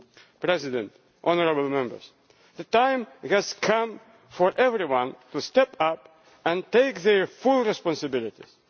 Mr President, honourable Members, the time has come for everyone to step up and take their full responsibilities.